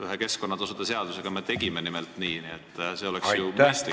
Ühe keskkonnatasude seadusega me tegime nimelt nii, see oleks ju mõistlik.